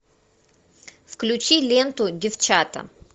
включи ленту девчата